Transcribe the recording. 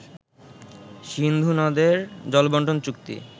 সিন্ধুনদের জলবন্টন চুক্তি